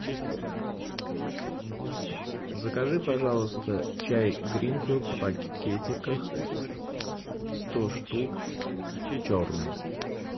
закажи пожалуйста чай гринфилд в пакетиках сто штук черный